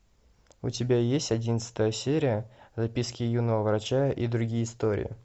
у тебя есть одиннадцатая серия записки юного врача и другие истории